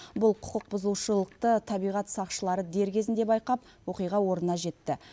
бұл құқықбұзушылықты табиғат сақшылары дер кезінде байқап оқиға орнына жетті